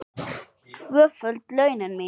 Tvöföld launin mín.